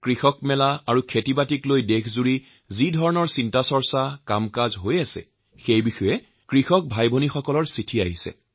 কিষাণ মেলা আৰু সমাৰোহক লৈ সমগ্ৰ দেশতে যি কামকাজ চলি আছে সেই বিষয়ে মোলৈ আমাৰ কৃষক ভাইভনীসকলে চিঠি প্ৰেৰণ কৰিছে